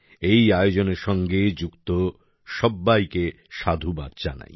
এই আয়োজনের সঙ্গে যুক্ত সব্বাইকে সাধুবাদ জানাই